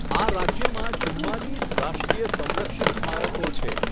આ રાજ્યમાં ચુંમાલીસ રાષ્ટ્રીય સંરક્ષિત સ્મારકો છે.